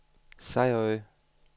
Sejerø